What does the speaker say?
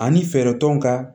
Ani fɛɛrɛ tɔnw ka